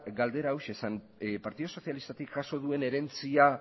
galdera hauxe zen partidu sozialistatik jaso duen herentzia